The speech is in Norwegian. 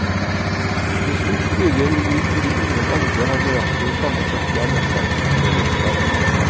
Til slutt blir jeg unik fordi ingen andre har nøyaktig det samme settet av nettverksmedlemskap.